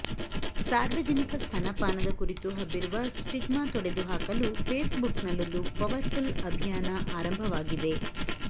ಸಾರ್ವಜನಿಕ ಸ್ತನಪಾನದ ಕುರಿತು ಹಬ್ಬಿರುವ ಸ್ಟಿಗ್ಮಾ ತೊಡೆದು ಹಾಕಲು ಫೇಸ್ಬುಕ್ನಲ್ಲೊಂದು ಪವರ್ಫುಲ್ ಅಭಿಯಾನ ಆರಂಭವಾಗಿದೆ